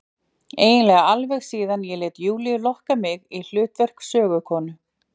Eiginlega alveg síðan ég lét Júlíu lokka mig í hlutverk sögukonu.